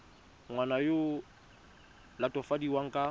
ngwana yo o latofadiwang ka